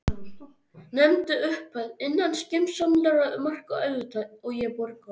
Nefndu upphæð, innan skynsamlegra marka auðvitað, og ég borga.